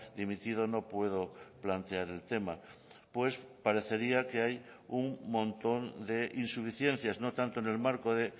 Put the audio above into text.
dimitido no puedo plantear el tema pues parecería que hay un montón de insuficiencias no tanto en el marco de